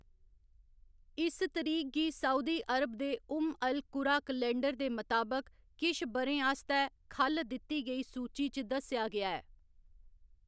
इस तरीक गी सऊदी अरब दे उम्म अल कुरा कैलेंडर दे मताबक किश ब'रें आस्तै ख'ल्ल दित्ती गेई सूची च दस्सेआ गेआ ऐ।